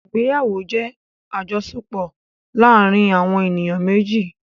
Ìgbéyàwó jẹ́ àjọṣepọ̀ láàárin àwọn èniyàn méjì.